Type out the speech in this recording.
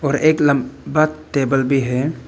और एक लम्बा टेबल भी है।